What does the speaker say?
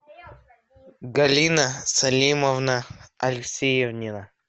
галина салимовна алексеевнина